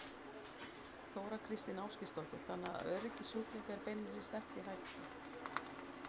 Þóra Kristín Ásgeirsdóttir: Þannig að öryggi sjúklinga er beinlínis stefnt í hættu?